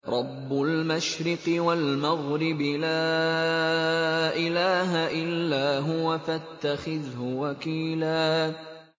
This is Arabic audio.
رَّبُّ الْمَشْرِقِ وَالْمَغْرِبِ لَا إِلَٰهَ إِلَّا هُوَ فَاتَّخِذْهُ وَكِيلًا